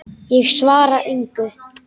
Ég svara engu.